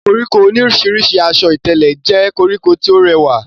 koríko oníìrísí asọ ìtẹ̀lẹ̀ jẹ́ koríko tí ó rẹwà